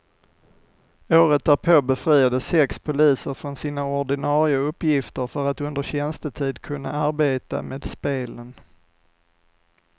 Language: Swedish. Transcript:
Året därpå befriades sex poliser från sina ordinare uppgifter för att under tjänstetid kunna arbeta med spelen.